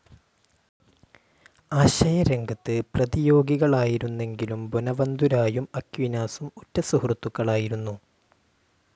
ആശയരംഗത്ത് പ്രതിയോഗികളായിരുന്നെങ്കിലും ബൊനവന്തുരായും അക്വീനാസും ഉറ്റ സുഹൃത്തുക്കളായിരുന്നു.